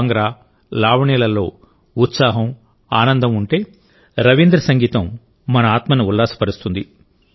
భాంగ్రా లావణి లలో ఉత్సాహం ఆనందం ఉంటేరవీంద్ర సంగీతం మన ఆత్మను ఉల్లాసపరుస్తుంది